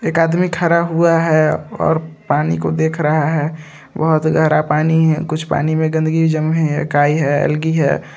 एक आदमी खड़ा हुआ है और पानी को देख रहा है बहुत गहरा पानी है कुछ पानी में गंदगी भी जमी है काई है एल्गी है।